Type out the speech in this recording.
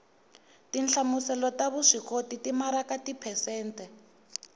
tinhlamuselo ta vuswikoti timaraka tiphesente